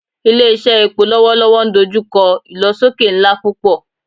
Ile-iṣẹ epo lọwọlọwọ n dojukọ ilosoke nla pupọ